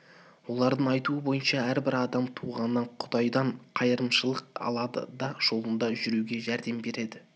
олардың айтуы бойынша әрбір адам туғаннан құдайдан қайырымшылык алады құдай жолында жүруге жәрдем береді